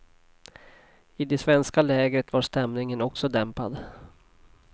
I det svenska lägret var stämningen också dämpad.